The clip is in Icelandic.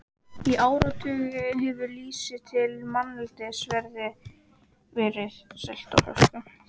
Í áratugi hefur lýsi til manneldis verið selt á flöskum.